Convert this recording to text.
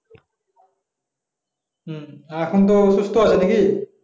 হম এখন তো সুস্থ আছে নাকি